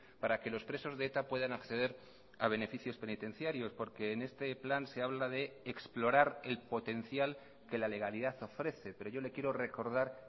para que los presos de eta puedan acceder a beneficios penitenciarios porque en este plan se habla de explorar el potencial que la legalidad ofrece pero yo le quiero recordar